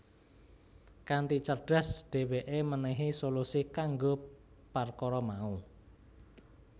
Kanthi cerdas dheweke menehi solusi kanggo parkara mau